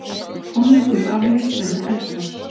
Tónleikum aflýst vegna eldgoss